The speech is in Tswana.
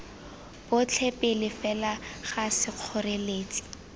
botlhe pele fela ga sekgoreletsi